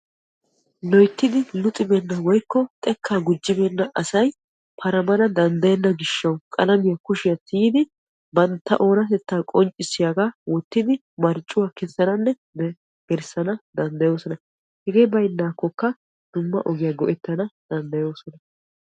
loyttidi luxxibeenna woykko xekkaa gujjibeena asay paramana danddayenna gishshawu qalamiya kushiyan tiyidi bantta oonatettaa qonccissiyaagaa wottidi marccuwa kessananne gellisana danddayoosona. hegee baynaakkokka dumma ogiya go'ettana danddayoosona.